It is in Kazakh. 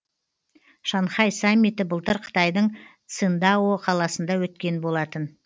шанхай саммиті былтыр қытайдың циндао қаласында өткен болатын